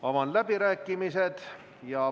Avan läbirääkimised.